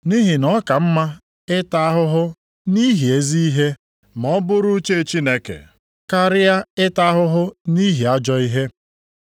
Nʼihi na ọ ka mma ịta ahụhụ nʼihi ezi ihe ma ọ bụrụ uche Chineke, karịa ịta ahụhụ nʼihi ajọ ihe.